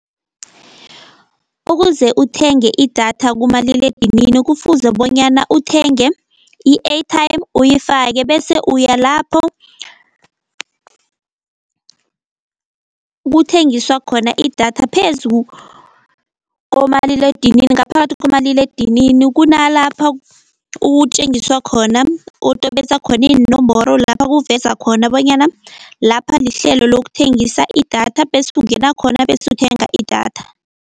Ukuze uthenge idatha kumaliledinini kufuze bonyana uthenge i-airtime uyifake, bese uya lapho kuthengiswa khona idatha phezu komaliledinini, ngaphakathi komaliledinini kunalapha utjengiswa khona, utobetsa khona iinomboro lapha kuveza khona bonyana lapha lihlelo lokuthengisa idatha bese ungena khona, bese uthenga idatha.